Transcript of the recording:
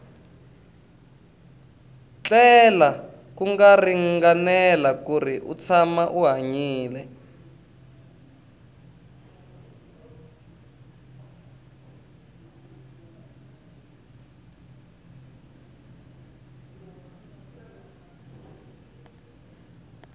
tlela ku ringanela kuri u tshama u hanyile